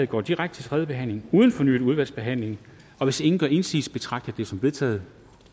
går direkte til tredje behandling uden fornyet udvalgsbehandling hvis ingen gør indsigelse betragter jeg dette som vedtaget